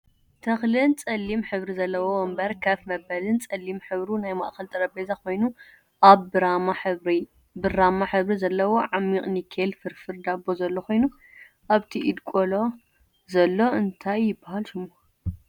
ተክልን ፀሊም ሕብሪ ዘለዎ ወንበር ከፍ መበልን ፀሊም ሕብሩ ናይ ማእከል ጠረጴዛ ኮይኑ ኣብ ብራማ ሕብሪ ዘለዎ ዓሚቅ ኒኬል ፍርፍር ዳቦ ዘሎ ኮይኑ ኣብቲ ኢድ ቆልዓ ዘሎ እንታይ ይብሃል ሽሙ?